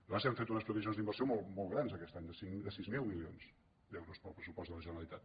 nosaltres hem fet unes previsions d’inversió molt grans aquest any de sis mil milions d’euros per al pressupost de la genera·litat